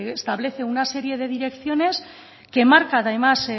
establecer una serie de direcciones que marca además